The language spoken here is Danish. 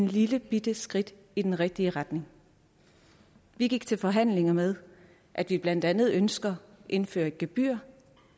lillebitte skridt i den rigtige retning vi gik til forhandlinger med at vi blandt andet ønsker indført et gebyr